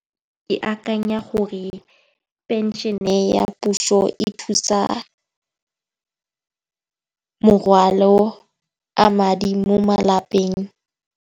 Ke akanya gore phenšene ya puso e thusa morwalo a madi mo malapeng.